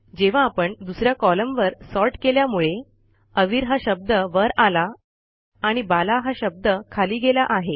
जेव्हा आपण दुस या कॉलमवर सॉर्ट केल्यामुळे अवीर हा शब्द वर आला आणि बाला हा शब्द खाली गेला आहे